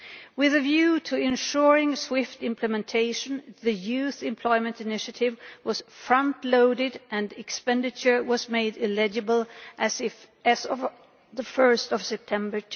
With a view to ensuring swift implementation, the Youth Employment Initiative was front loaded and expenditure was made eligible as of 1 September